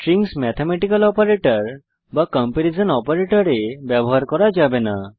strings mathematical operator বা comparison অপারেটরে ব্যবহার করা যাবে না